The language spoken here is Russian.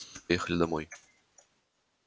поехали домой